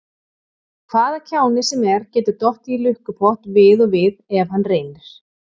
Hvaða kjáni sem er getur dottið í lukkupott við og við ef hann reynir.